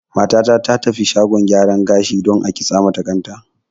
Mata ta ta tafi shagon gyara gashi dan a kintsa mata kan ta